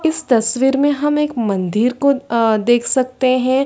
इस तस्वीर में हम एक मंदिर को अ देख सकते हैं ।